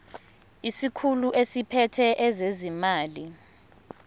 isikhulu esiphethe ezezimali